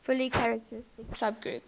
fully characteristic subgroup